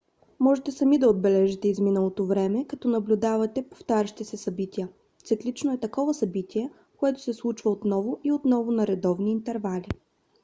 можете сами да отбележите изминалото време като наблюдавате повтарящи се събития. циклично е такова събитие което се случва отново и отново на редовни интервали